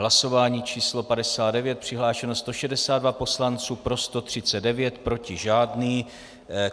Hlasování číslo 59, přihlášeno 162 poslanců, pro 139, proti žádný.